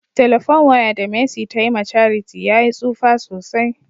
" telephone wire" da mercy ta Yi ma charity ya yi tsufa sosai.